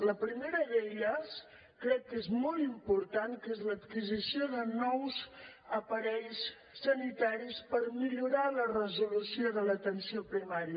la primera d’elles crec que és molt important que és l’adquisició de nous aparells sanitaris per millorar la resolució de l’atenció primària